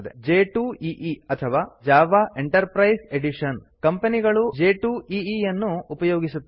j2ಈ ಅಥವಾ Java enterprise edition Java enterprise edition ಕಂಪೆನಿಗಳು j2ಈ ಅನ್ನು ಉಪಯೋಗಿಸುತ್ತವೆ